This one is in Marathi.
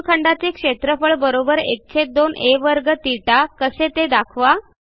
वर्तुळखंडाचे क्षेत्रफळ ½ आ2 θ कसे ते दाखवा